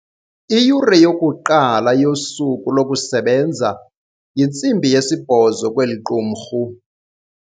Iyure yokuqala yosuku lokusebenza yintsimbi yesibhozo kweli qumrhu.